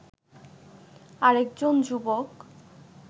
আরেকজন যুবক